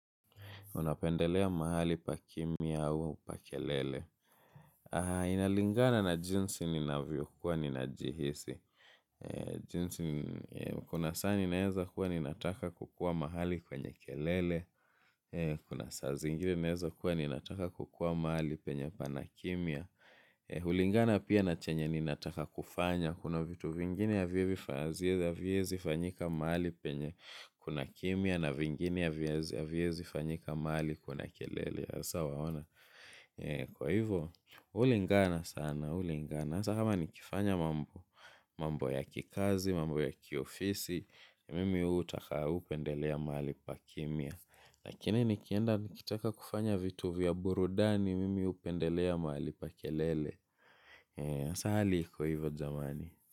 Unapendelea mahali pa kimia au pa kelele. Inalingana na jinsi ninavyo kuwa ninajihisi. Jinsi kuna saa ninaeza kuwa ninataka kukua mahali kwenye kelele. Kuna saa zingine naeza kuwa ninataka kukua mahali penye panakimia. Hulingana pia na chenye ninataka kufanya. Kuna vitu vingine havyezifanyika mahali penye kuna kimia na vingine havyezi fanyika mahali kuna kelele hasa waona kwa hivyo, ulingana sana, ulingana sasa kama nikifanya mambo ya kikazi, mambo ya kiofisi mimi hutaka hupendelea mali pa kimya lakini nikienda nikitaka kufanya vitu vya burudani mimi upendelea mahali pa kelele sasa hali iko hivyo jamani.